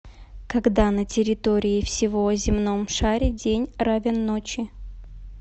когда на территории всего земном шаре день равен ночи